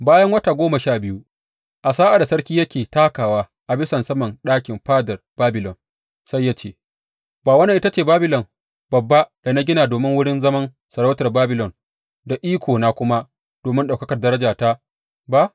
Bayan wata goma sha biyu, a sa’ad da sarki yake takawa a bisan saman ɗakin fadar Babilon, sai ya ce, Ba wannan ita ce Babilon babba da na gina domin wurin zaman sarautar Babilon, da ikona kuma domin ɗaukakar darajata ba?